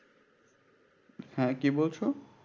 হ্যাঁ কি বলছো?